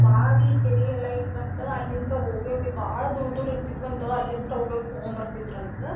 ಬಾವಿ ಕೆರಿ ಎಲ್ಲಾ ಇದ್ದು ಅಂತ ಅಲ್ಲಿಂತ್ರ ಹೋಗೋಗಿ ಬಾಳ್ ದೂರ್ ದೂರ್ ಇರ್ತಿದ್ದು ಅಂತ ಅಲ್ಲಿಂತ್ರ ಹೋಗೋಗಿ ತುಗೊಂಡ ಬರ್ತಿದ್ರಂತ.